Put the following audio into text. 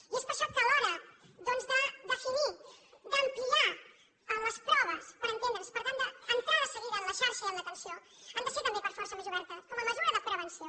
i és per això que a l’hora doncs de definir d’ampliar les proves per entendre’ns per tant d’entrar de seguida en la xarxa i en l’atenció han de ser per força més obertes com a mesura de prevenció